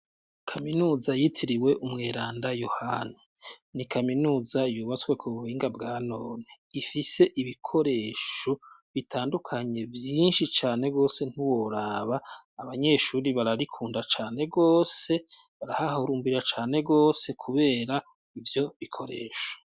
Kaminuza yitiriwe umweranda yohani ni kaminuza ibubatswe ku bubinga bwanone ifise ibikoresho bitandukanye vyinshi cane gose ntuboraba abanyeshuri bararikunda cane gose barahahurumbira Cane gose kubera ivyo bikoresho.